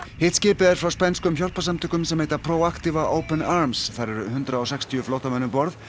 hitt skipið er frá spænskum hjálparsamtökum sem heita open arms þar eru hundrað og sextíu flóttamenn um borð